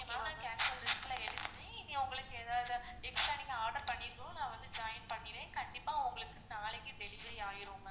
கண்டிப்பா cancel list ல எழுதி நீங்க உங்களுக்கு ஏதாவது extra நீங்க order பண்ணதும் நான் join பண்ணிர்ரன், கண்டிப்பா உங்களுக்கு நாளைக்கு delivery ஆயிரும்.